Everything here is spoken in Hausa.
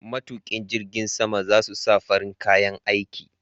Matuƙin jirgin sama za su sa farin kayan aiki.